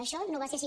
això no va ser així